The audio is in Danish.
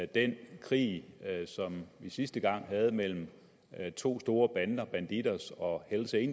den krig som vi sidste gang havde mellem to store bander bandidos og